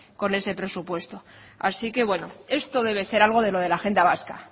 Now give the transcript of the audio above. con ese presupuesto así que bueno esto debe ser algo de lo de la agenda vasca